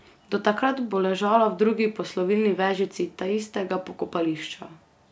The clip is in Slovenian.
Do takrat bo ležala v drugi poslovilni vežici taistega pokopališča.